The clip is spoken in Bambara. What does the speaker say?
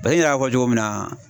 Paseke n yɛrɛ y'a fɔ cogo min na